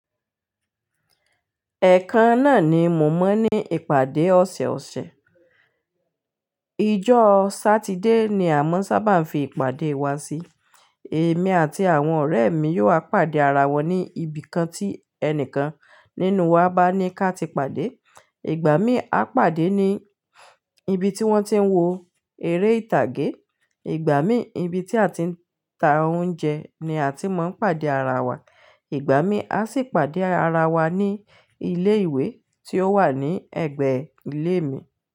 Ẹ̀ẹ̀kan náà ni mo mọ̀ ní ìpàdé ọ̀sẹ̀osẹ̀. Ijó Satide ni a máa ń sábà ń fi ìpàdé wa sí. Èmi àti àwọn ọ̀rẹ́ mi yóò wá pàdé ara wa ní ibìkan tí ẹnìkan nínú wa bá ní káti pàdé. Ìgbà mí a pàdé ní ibi tí wọ́n ti ń wo eré ìtàgé, ìgbà mí ibi tí a ti ń ta oúnjẹ ni a ti máa ń pàdé ara wa, ìgbà mí a sì pàdé ara wa ní ilé ìwé tí ó wà ní ẹ̀gbẹ́ ilé mi.